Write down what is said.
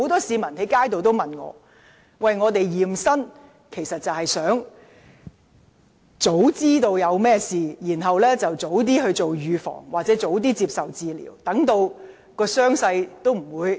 "驗身"的目的是要及早知道身體有甚麼毛病，然後及早預防或接受治療，以防傷勢惡化。